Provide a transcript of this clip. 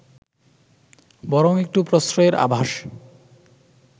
বরং একটু প্রশ্রয়ের আভাস